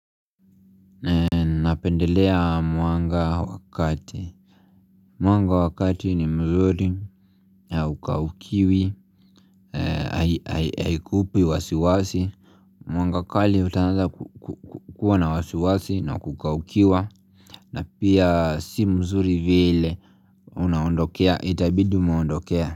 Napendelea mwanga wakati Mwanga wakati ni mzuri na huakaukiwi Haikupi wasiwasi Mwanga kali utaanza kukua na wasiwasi na kukaukiwa na pia si mzuri vile Unaondokea itabidi umeondokea.